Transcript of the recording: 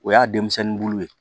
O y'a denmisɛnnin bulu ye